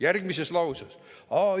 " Järgmises lauses!